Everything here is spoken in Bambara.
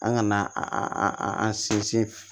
An kana a an sinsin